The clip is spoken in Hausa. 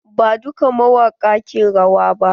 Ba dukka mawaƙa ke rawa ba.